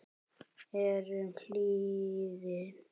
eyrum hlýðir